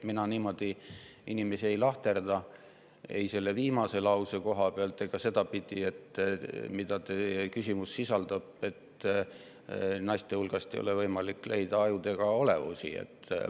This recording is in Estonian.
Mina inimesi niimoodi ei lahterda, ei selles viimases lauses viidatu järgi ega ka selle järgi, mida teie küsimus sisaldas, et naiste hulgast ei ole võimalik leida ajudega olevusi.